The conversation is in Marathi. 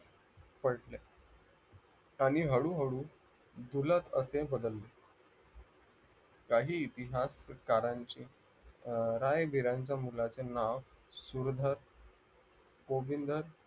पडले आणि हळूहळू झुलत असे बदलले काही इतिहासकारांची राय-विराचं मुलाचे नाव सुरधर गोविंधर पडले